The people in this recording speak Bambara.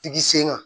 Tigi sen kan